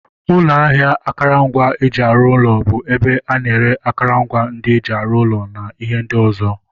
Ụlọ ahịa akụrụngwa eji arụ ụlọ bụ ebe ana ere akụrụngwa ndị eji arụ ụlọ na ihe ndị ọzọ.